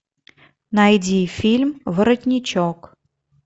найди фильм воротничок